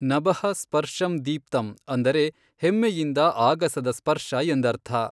ನಭಃ ಸ್ಪರ್ಷಂ ದೀಪ್ತಂ ಅಂದರೆ ಹೆಮ್ಮೆಯಿಂದ ಆಗಸದ ಸ್ಪರ್ಶ ಎಂದರ್ಥ.